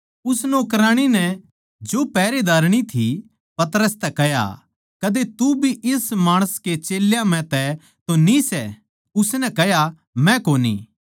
उस नौकराणी नै जो पहरेदारणी थी पतरस तै कह्या कदे तू भी इस माणस के चेल्यां म्ह तै तो न्ही सै उसनै कह्या मै कोनी